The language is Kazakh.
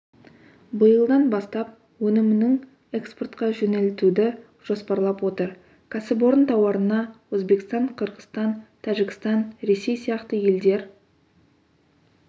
биылдан бастап өнімінің экспортқа жөнелтуді жоспарлап отыр кәсіпорын тауарына өзбекстан қырғызстан тәжікстан ресей сияқты елдер